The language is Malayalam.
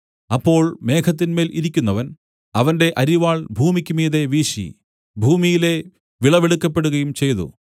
അപ്പോൾ മേഘത്തിന്മേൽ ഇരിക്കുന്നവൻ അവന്റെ അരിവാൾ ഭൂമിക്കുമീതെ വീശി ഭൂമിയിലെ വിളവെടുക്കപ്പെടുകയും ചെയ്തു